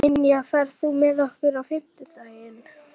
Ynja, ferð þú með okkur á fimmtudaginn?